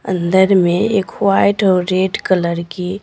अंदर में एक वाइट और रेड कलर की--